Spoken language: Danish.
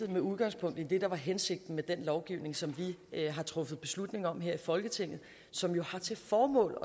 med udgangspunkt i det der var hensigten med den lovgivning som vi har truffet beslutning om her i folketinget som jo har til formål